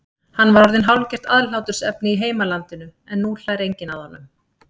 Hann var orðinn hálfgert aðhlátursefni í heimalandinu en nú hlær enginn að honum.